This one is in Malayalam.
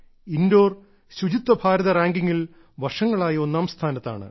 ഇൻഡോർ ശുചിത്വ ഭാരത റാങ്കിംഗിൽ വർഷങ്ങളായി ഒന്നാംസ്ഥാനത്താണ്